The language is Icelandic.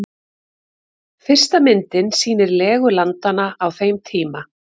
Fyrsta myndin sýnir legu landanna á þeim tíma.